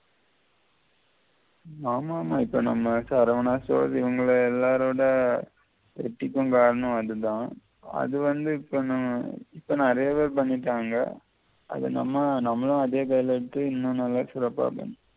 ஆமாமா இப்ப நம்ம saravana stores இவங்கல எல்லாரோட வெ ற்ரிக்கும் காரணம் அதுதான் அதுவந்து இப்ப நான் இப்ப நெறைய பேர் பண்ணிட்டான்ங்க அத நம்ம நம்மளும் அதே வெல எடுத்து இன்னும் நல்லா சிற்றப்பா